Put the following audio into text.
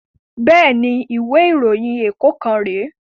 Bẹ́ẹ̀ni, ìwé ìròyìn ẹ̀kọ́ kan rè